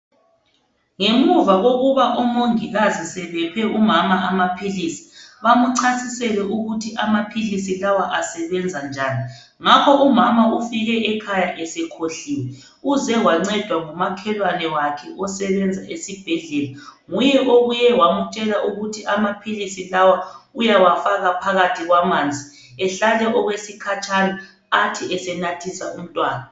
Ngemuva kokuba umongikazi sebephe umama amaphilisi. Bamuchasisele ukuthi amaphilisi lawa asebenzanjani. Ngakho umama ufike ekhaya esekhohliwe. Uze wancedwa ngumakhelwane wakhe osebenza esibhedlela. Nguye obuye wamutshela ukuthi amaphilisi lawa, uyawafaka phakathi kwamanzi. Ehlale okwesikhatshana, athi esenathisa umntwana.